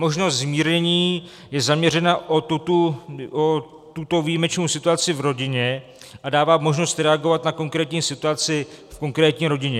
Možnost zmírnění je zaměřena na tuto výjimečnou situaci v rodině a dává možnost reagovat na konkrétní situaci v konkrétní rodině.